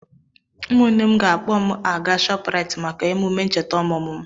Ụmụnne m ga-akpọ m aga Shoprite maka emume ncheta ọmụmụ m.